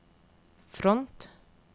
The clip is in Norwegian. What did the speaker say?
front